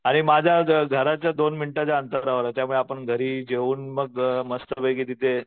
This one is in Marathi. आणि माझ्या घराच्या दोन मिनिटाच्या अंतरावर आहे त्यामुळे आपण घरी जेऊन मग मस्तपैकी तिथे